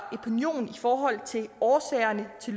epinion i forhold til årsagerne til